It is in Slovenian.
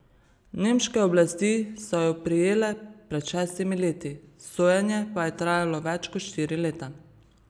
Nemške oblasti so ju prijele pred šestimi leti, sojenje pa je trajalo več kot štiri leta.